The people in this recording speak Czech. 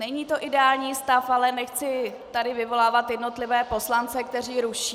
Není to ideální stav, ale nechci tady vyvolávat jednotlivé poslance, kteří ruší.